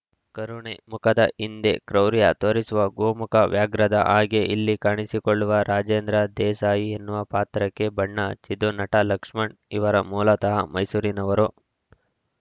ಕರುಣೆ ಮುಖದ ಹಿಂದೆ ಕ್ರೌರ್ಯ ತೋರಿಸುವ ಗೋಮುಖ ವ್ಯಾಘ್ರದ ಹಾಗೆ ಇಲ್ಲಿ ಕಾಣಿಸಿಕೊಳ್ಳುವ ರಾಜೇಂದ್ರ ದೇಸಾಯಿ ಎನ್ನುವ ಪಾತ್ರಕ್ಕೆ ಬಣ್ಣ ಹಚ್ಚಿದ್ದು ನಟ ಲಕ್ಷ್ಮಣ್‌ ಇವರು ಮೂಲತಃ ಮೈಸೂರಿನವರು